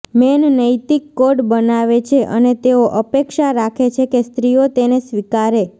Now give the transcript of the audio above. main નૈતિક code બનાવે છે અને તેઓ અપેક્ષા રાખે છે કે સ્ત્રીઓ તેને સ્વીકારે